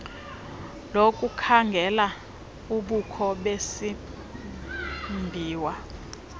lokukhangela ubukho besimbiwa